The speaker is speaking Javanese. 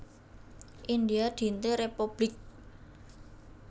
India Dinte Républik